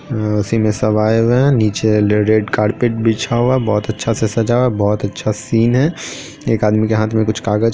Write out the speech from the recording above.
हम्म उसी में सब आये हुए है निचे रेड कारपेट बिछा हुआ है बहुत अच्छा सा सज़ा हुआ है बहुत अच्छा सा सीन है एक आदमी के हाथ में कुछ कागज़ --